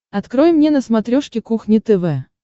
открой мне на смотрешке кухня тв